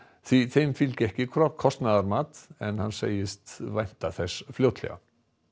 því þeim fylgi ekki kostnaðarmat en segist vænta þess fljótlega